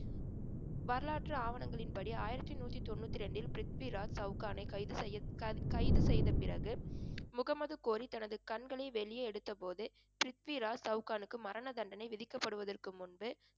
வரலாற்று ஆவணங்களின்படி ஆயிரத்தி நூத்தி தொண்ணூத்தி ரெண்டில் பிரித்விராஜ் சவுகானை கைது செய்ய~ க~ கைது செய்த பிறகு முகமது கோரி தனது கண்களை வெளியே எடுத்த போது பிரித்விராஜ் சவுகானுக்கு மரண தண்டனை விதிக்கப்படுவதற்க்கு முன்பு